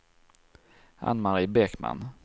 Ann-Mari Bäckman